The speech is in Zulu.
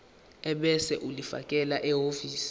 ebese ulifakela ehhovisi